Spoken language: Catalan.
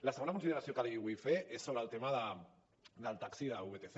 la segona consideració que li vull fer és sobre el tema del taxi de vtc